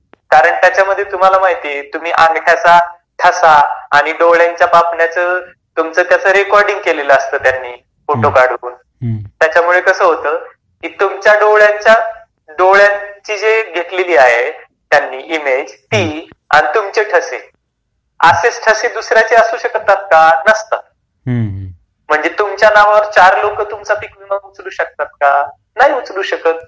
कारण त्याच्यामध्ये तुम्हाला माहिती आहे अंगठ्याचा ठसा आणि डोळ्यांच्या पापण्या तुमचं कसं रेकॉर्ड केला असता त्यांनी फोटो काढले. पण त्याच्यामुळे कसं होतं? तुमच्या डोळ्यांची जी घेतली आहे इमेज आणि तुमचे ठसे.असेच ठसे दुसऱ्यांचे असू शकतात का ? नसतात म्हणजे तुमच्या नावावर चार लोक तुमचा विमा उचलू शकतात का? नाही उचलू शकत..